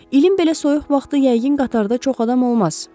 İlin belə soyuq vaxtı yəqin qatarda çox adam olmaz.